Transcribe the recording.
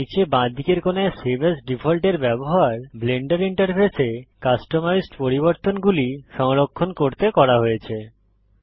নীচে বাঁদিকের কোণায় সেভ এএস ডিফল্ট এর ব্যবহার ব্লেন্ডার ইন্টারফেসে কাস্টমাইজড পরিবর্তনগুলি সংরক্ষণ করতে করা হয়েছে